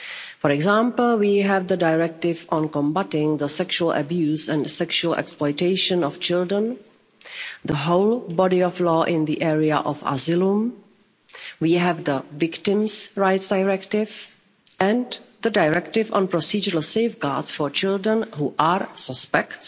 For example, we have the Directive on Combating the Sexual Abuse and Sexual Exploitation of Children, the whole body of law in the area of asylum and we have the Victims' Rights Directive and the Directive on procedural safeguards for children who are suspects